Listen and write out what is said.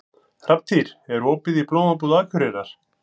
Hrafntýr, er opið í Blómabúð Akureyrar?